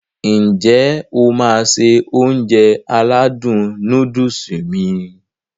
N jẹ́ o máá se Ounjẹ aládùn nóódùsì mi?